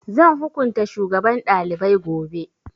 Zan hukunta shugaban ɗalibai gobe